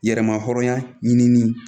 Yɛrɛmahɔrɔnya ɲinini